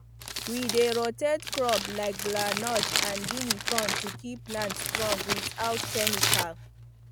we dey rotate crop like groundnut and guinea corn to keep land strong without chemical